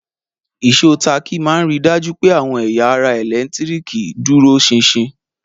Ìsò táàkì ma n ri dájú pẹ́ àwọn ẹ̀yà ara ẹ̀lẹ́ntíríkì dúró sinsin.